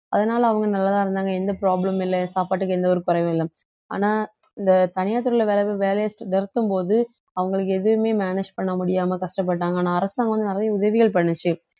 அதனால அவங்க நல்லாதான் இருந்தாங்க எந்த problem மும் இல்லை சாப்பாட்டுக்கு எந்த ஒரு குறைவும் இல்லை ஆனா இந்த தனியார் துறையில வேலை~ வேலையை நிறுத்தும்போது அவங்களுக்கு எதுவுமே manage பண்ண முடியாம கஷ்டப்பட்டாங்க ஆனா அரசாங்கம் வந்து நிறைய உதவிகள் பண்ணுச்சு